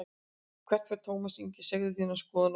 Hvert fer Tómas Ingi, segðu þína skoðun á Spjallinu